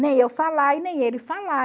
Nem eu falar e nem ele falar.